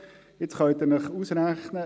Jetzt können Sie es sich ausrechnen: